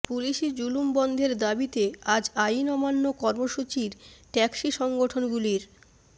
পুলিসি জুলুম বন্ধের দাবিতে আজ আইন অমান্য কর্মসূচির ট্যাক্সি সংগঠনগুলির